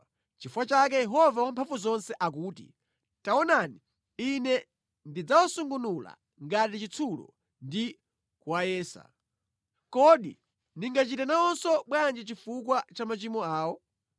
Nʼchifukwa chake Yehova Wamphamvuzonse akuti, “Taonani, Ine ndidzawasungunula ngati chitsulo ndi kuwayesa. Kodi ndingachite nawonso bwanji chifukwa cha machimo awo?